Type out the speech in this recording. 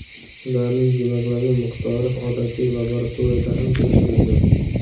Ularning gemoglobin miqdori odatiy laboratoriyada ham tekshirilgan.